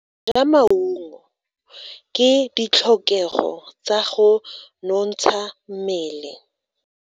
Go ja maungo ke ditlhokego tsa go nontsha mmele.